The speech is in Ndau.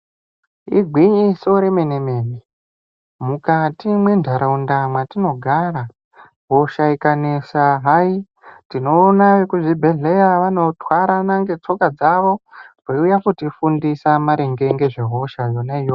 Igwinyiso remene mene mukati mentaraunda yatinogara hosha kunetsa hayi tinoona vekuzvibhedhlera vanotwara tsoka dzavo veiuya kutifundisa ngezvehosha iyoyo.